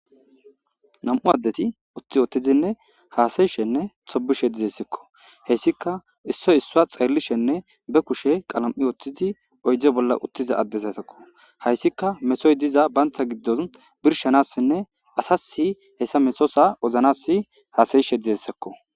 Nam7u addesi utti ootizinne haasayishenne xobishe dizessekko heyssika issoy issua xeerlishenne be kushe qalam7i oottizi oyde bolla uttiza addez asekko hayssika mesoy diza bantha giddon birshanassinne asasi hessa mesosa oznas haasayishe dizessekko.